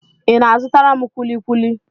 Ị na-azụtara m kwuli kwuli?